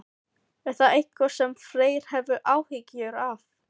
Er það eitthvað sem Freyr hefur áhyggjur af?